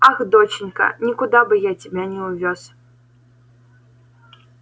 ах доченька никуда бы я тебя не увёз